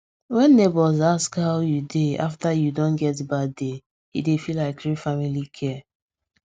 wen neighbour ask how you dey after you don get bad day e dey feel like real family care